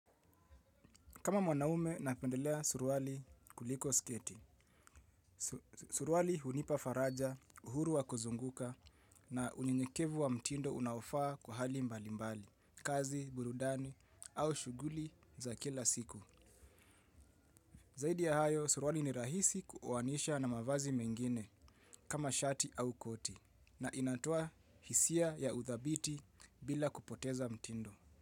Kama mwanaume, napendelea suruali kuliko sketi. Suruali hunipa faraja, uhuru wa kuzunguka na unyenyekevu wa mtindo unaofaa kwa hali mbali mbali, kazi, burudani au shughuli za kila siku. Zaidi ya hayo, suruali ni rahisi kuoanisha na mavazi mengine kama shati au koti na inatoa hisia ya uthabiti bila kupoteza mtindo.